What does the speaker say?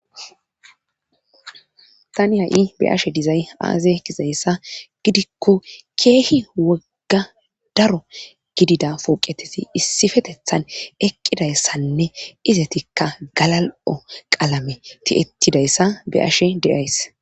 Tani ha7i be ashe dizay aaze kizayssa gidikko keehi wogga daro gidida pooqeteti issifetethan eqqidayssanne izetikka galal7o qalame ti7ettidayssa be ashe deays.